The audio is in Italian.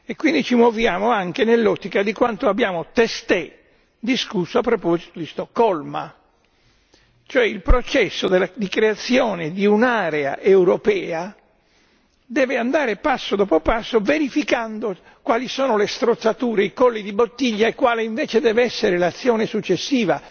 Quindi ci muoviamo anche nell'ottica di quanto abbiamo appena discusso a proposito di Stoccolma, e cioè che il processo di creazione di un'area europea deve andare passo dopo passo verificando quali sono le strozzature, i colli di bottiglia e quale invece deve essere l'azione successiva,